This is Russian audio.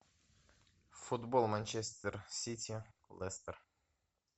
футбол манчестер сити лестер